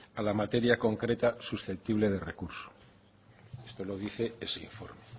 a la materia concreta susceptible de recurso es lo que dice ese informe